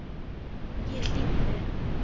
Ég hlýddi.